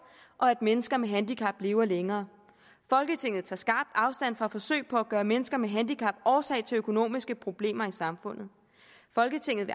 og at mennesker med handicap lever længere folketinget tager skarpt afstand fra forsøg på at gøre mennesker med handicap årsag til økonomiske problemer i samfundet folketinget